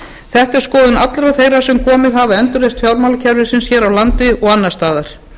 þetta er skoðun allra þeirra sem komið hafa að endurreisn fjármálakerfisins hér á landi og annars staðar